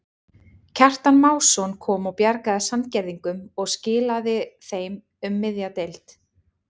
Kjartan Másson kom og bjargaði Sandgerðingum og skilaðu þeim um miðja deild.